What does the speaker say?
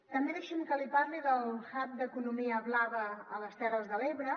també deixi’m que li parli del hub d’economia blava a les terres de l’ebre